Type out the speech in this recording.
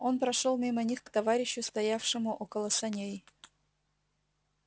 он прошёл мимо них к товарищу стоявшему около саней